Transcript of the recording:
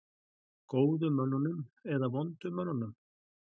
Góðu mönnunum eða vondu mönnunum?